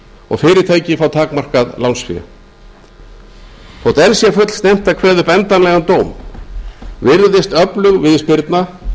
og fyrirtæki fá takmarkað lánsfé þótt enn sé fullsnemmt að kveða upp endanlegan dóm virðist öflug viðspyrna